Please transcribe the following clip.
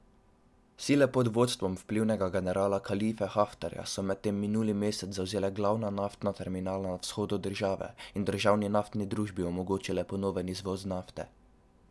Sile pod vodstvom vplivnega generala Kalife Haftarja so medtem minuli mesec zavzele glavna naftna terminala na vzhodu države in državni naftni družbi omogočile ponoven izvoz nafte.